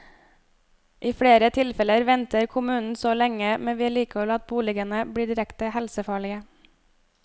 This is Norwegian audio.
I flere tilfeller venter kommunen så lenge med vedlikehold at boligene blir direkte helsefarlige.